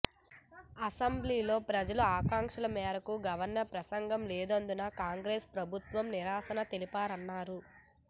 అసెంబ్లీలో ప్రజల ఆకాంక్షల మేరకు గవర్నర్ ప్రసంగం లేనందునే కాంగ్రెస్ సభ్యులు నిరసన తెలిపారన్నారు